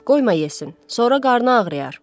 Qoyma yesin, sonra qarnın ağrıyar.